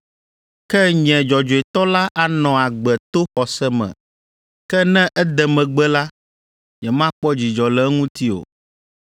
Ke nye dzɔdzɔetɔ la anɔ agbe to xɔse me. Ke ne ede megbe la, nyemakpɔ dzidzɔ le eŋuti o.”